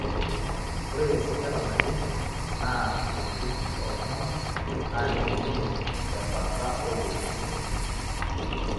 ore esajata naje naa tenkumpi oo ltunganaka naa kelimuni te bata oo wuejitin